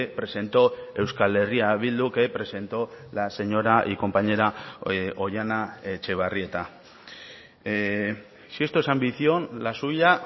presentó euskal herria bildu que presento la señora y compañera oihana etxebarrieta si esto es ambición la suya